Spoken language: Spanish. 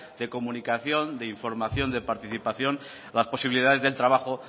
de comunicación de información de participación las posibilidades del trabajo